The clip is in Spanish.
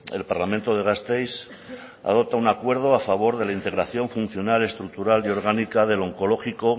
el parlamento de gasteiz adopta un acuerdo a favor de la integración funcional estructural y orgánica del oncológico